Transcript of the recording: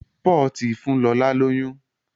Paul tí fún lọla lóyún.